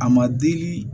A ma deli